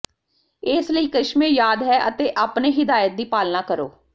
ਇਸ ਲਈ ਕਰਿਸ਼ਮੇ ਯਾਦ ਹੈ ਅਤੇ ਆਪਣੇ ਿਹਦਾਇਤ ਦੀ ਪਾਲਣਾ ਕਰੋ